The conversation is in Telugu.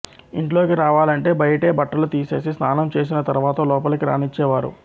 ఇంట్లోకి రావాలంటే బయటే బట్టలు తీసేసి స్నానం చేసిన తర్వాత లోపలికి రానిచ్చే వారు